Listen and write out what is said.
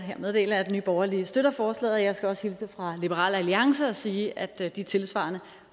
her meddele at nye borgerlige støtter forslaget og jeg skal også hilse fra liberal alliance og sige at de tilsvarende